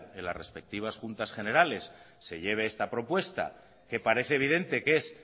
en las respectivas juntas generales se lleve esta propuesta que parece evidente que es